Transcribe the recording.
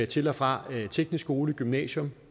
til og fra teknisk skole gymnasium